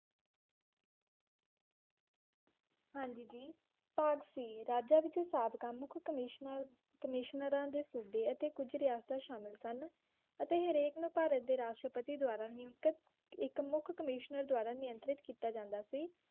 ਹਾਂਜੀ ਜੀ ਭਾਗ C ਰਾਜਾ ਵਿੱਚ ਸਾਤ ਕੰਮ ਮੁੱਖ ਕਮਿਸਨਰ ਕਮਿਸ਼ਨਰਾਂ ਦੇ ਸੂਬੇ ਇੱਥੇ ਕੁੱਝ ਰਿਹਾਸਤਾਂ ਸ਼ਾਮਿਲ ਸਨ ਅਤੇ ਹਰ ਇੱਕ ਨੂੰ ਭਾਰਤ ਦੇ ਰਾਸ਼ਟਰਪਤੀ ਦੁਆਰਾ ਨਿਯੁਕਤ ਇੱਕ ਮੁੱਖ ਕਮਿਸ਼ਨਰ ਦੁਆਰਾ ਨਿਯੰਤਰੀਤ ਕੀਤਾ ਜਾਂਦਾ ਸੀ।